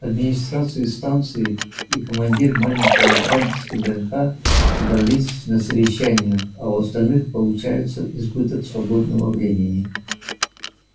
администрация станции и командир маленького отряда с вднх собрались на совещание а у остальных получался избыток свободного времени